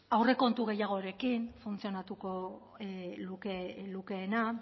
aurrekontu gehiagorekin funtzionatuko lukeena